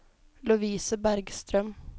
Lovise Bergstrøm